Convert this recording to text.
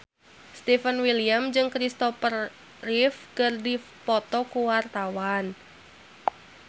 Stefan William jeung Christopher Reeve keur dipoto ku wartawan